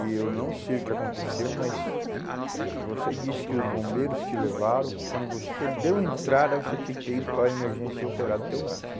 E eu não sei o que aconteceu, mas... Se você disse que os bombeiros te levaram, quando você deu entrada, você tinha que ter ido para a emergência e operado o teu braço.